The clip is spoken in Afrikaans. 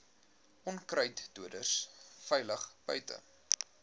onkruiddoders veilig buite